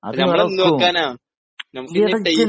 നമ്മള് എന്ന് വെക്കാനാ ? നമുക്കിനി ടൈം